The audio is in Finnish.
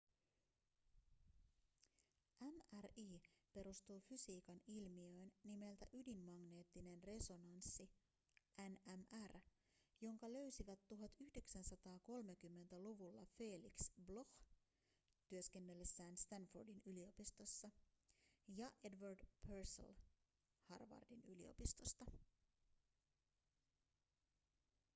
mri perustuu fysiikan ilmiöön nimeltä ydinmagneettinen resonanssi nmr jonka löysivät 1930-luvulla felix bloch työskennellessään stanfordin yliopistossa ja edward purcell harvardin yliopistosta